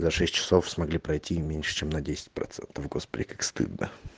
за шесть часов смогли пройти меньше чем на десять процентов господи как стыдно